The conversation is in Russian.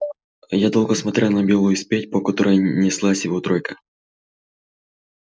я долго смотрел на белую степь по которой неслась его тройка